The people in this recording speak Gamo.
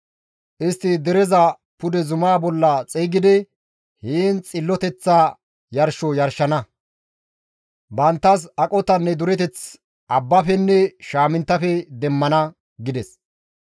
Istti dereza pude zuma bolla xeygidi heen xilloteththa yarsho yarshana; banttas aqotanne dureteth abbafenne shaaminttafe demmana» gides.